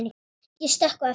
Ég stökk á eftir honum.